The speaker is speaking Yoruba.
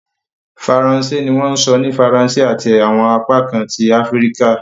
Faransé ni wọ́n sọ ní Faransé ati awọn apakan ti Afirika